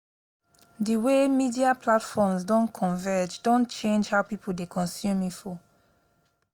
the way media platforms don converge don change how people dey consume info.